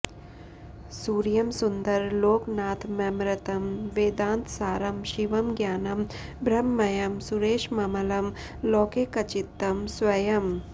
सूर्यं सुन्दर लोकनाथममृतं वेदान्तसारं शिवम् ज्ञानं ब्रह्ममयं सुरेशममलं लोकैकचित्तं स्वयम्